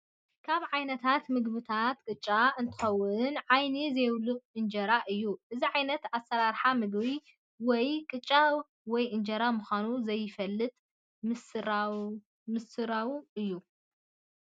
ካብ ዓይነታት ምግብታት ቅጫ እትከውንወይ ዓይኒ ዘይብሉ እንጀራ እዩ። እዚ ዓይነታት ኣሰራርሓ ምግቢ ወይ ቅጫወይ እንጀራ ምካኑ ዘይፍለጥ ምስርውና እዩ።